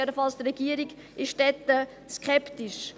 Jedenfalls ist die Regierung dort skeptisch.